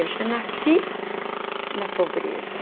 Eu já nasci na pobreza.